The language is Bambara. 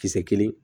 Kisɛ kelen